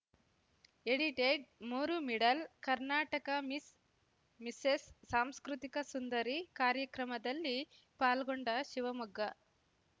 edited ಮೂರು middle Karnataka Miss Mrs ಸಾಂಸ್ಕೃತಿಕ ಸುಂದರಿ ಕಾರ್ಯಕ್ರಮದಲ್ಲಿ ಪಾಲ್ಗೊಂಡ ಶಿವಮೊಗ್ಗ